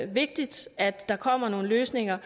vigtigt at der kommer nogle løsninger